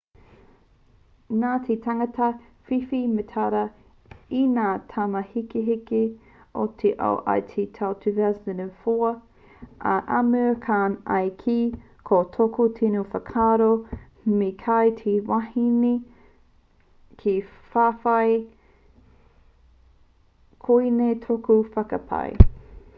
nā te tangata whiwhi mētara i ngā taumāhekeheke o te ao i te tau 2004 a amir khan i kī ko tōku tino whakaaro me kaua te wahine e whawhai koinei tōku whakapae